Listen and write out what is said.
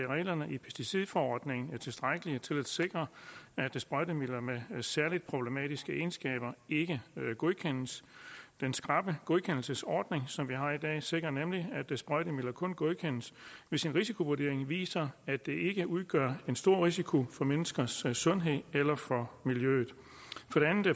reglerne i pesticidforordningen er tilstrækkelige til at sikre at sprøjtemidler med særlig problematiske egenskaber ikke godkendes den skrappe godkendelsesordning som vi har i dag sikrer nemlig at sprøjtemidler kun godkendes hvis en risikovurdering viser at de ikke udgør en stor risiko for menneskers sundhed eller for miljøet